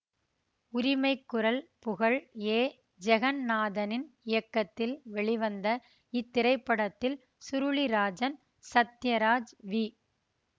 உரிமைக்குரல் புகழ் ஏ ஜகந்நாதனின் இயக்கத்தில் வெளிவந்த இத்திரைப்படத்தில் சுருளிராஜன் சத்யராஜ் வி